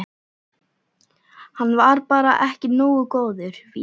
Hann var bara ekki nógu góður, víst.